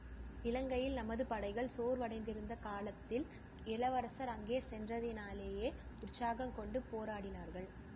இலங்கையில் நமது படைகள் சோர்வடைந்திருந்த காலத்தில் இளவரசர் அங்கே சென்றதினாலேயே உற்சாகங்கொண்டு போராடினார்கள்